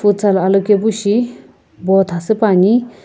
futsal alokepu shi botha süpuani.